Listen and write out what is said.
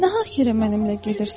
Nahax yerə mənimlə gedirsən.